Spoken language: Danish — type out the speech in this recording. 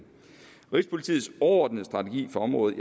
rigspolitiets overordnede strategi for området